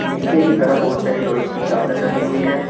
पीछे की तरफ बहुत सारी लोहे की चादर डाली हुई है।